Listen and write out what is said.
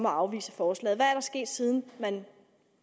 afvise forslaget hvad er der sket siden man